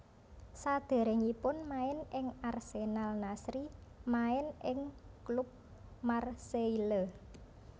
Saderengipun main ing Arsenal Nasri main ing klub Marseille